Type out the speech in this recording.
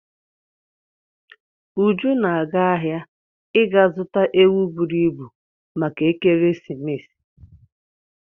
Uju na-aga ahịa ịga zuta ewu buru ibu maka ekeresimesi.